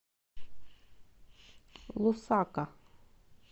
лусака